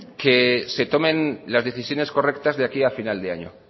que se tomen las decisiones correctas de aquí a final de año